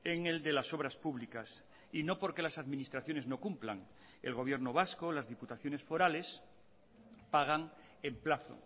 en el de las obras públicas y no porque las administraciones no cumplan el gobierno vasco las diputaciones forales pagan en plazo